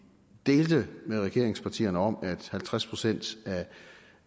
delte med regeringspartierne om at halvtreds procent af